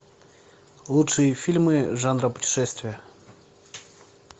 лучшие фильмы жанра путешествия